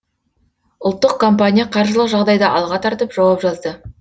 ұлттық компания қаржылық жағдайды алға тартып жауап жазды